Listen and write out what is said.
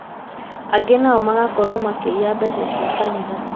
angĩ nao magakorwo makĩiya mbeca cia kanitha